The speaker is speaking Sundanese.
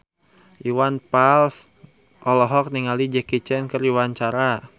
Iwan Fals olohok ningali Jackie Chan keur diwawancara